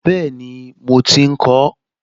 Bẹ́ẹ̀ni mo ti ń kọ ọ́